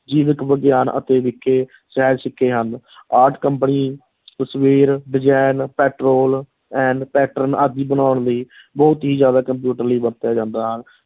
ਜੀਵਕ ਵਿਗਿਆਨ ਆਦਿ ਸਹਿ ਚੁੱਕੇ ਹਨ art company ਤਸਵੀਰ design ਪੈਟਰੋਲ pattern ਆਦਿ ਬਣਾਉਣ ਲਈ ਬਹੁਤ ਹੀ ਜ਼ਿਆਦਾ ਕੰਪਿਊਟਰ ਲਈ ਵਰਤਿਆ ਜਾਂਦਾ ਹੈ।